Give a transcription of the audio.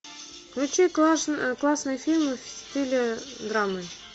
включи классные фильмы в стиле драмы